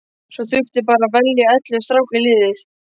Svo þurfti bara að velja ellefu stráka í liðið.